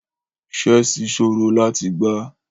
Chessi sọrọ lati gbà.